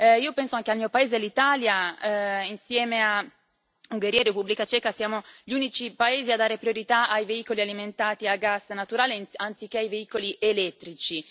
Io penso anche al mio paese, all'Italia, insieme a Ungheria e Repubblica Ceca, siamo gli unici paesi a dare priorità ai veicoli alimentati a gas naturale, anziché ai veicoli elettrici.